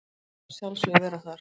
Maður vill að sjálfsögðu vera þar